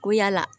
Ko yala